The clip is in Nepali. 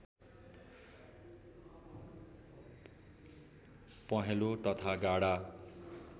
पहेँलो तथा गाढा